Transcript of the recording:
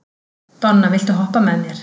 Donna, viltu hoppa með mér?